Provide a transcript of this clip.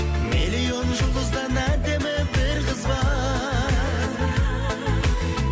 миллион жұлдыздан әдемі бір қыз бар